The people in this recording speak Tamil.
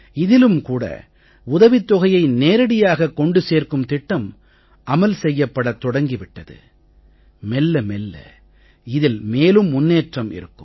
இதிலும் கூட உதவித் தொகையை நேரடியாகக் கொண்டு சேர்க்கும் திட்டம் அமல் செய்யப்படத் தொடங்கி விட்டது மெல்ல மெல்ல இதில் மேலும் முன்னேற்றம் இருக்கும்